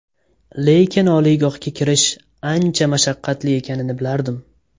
Lekin oliygohga kirish, ancha mashaqqatli ekanini bilardim.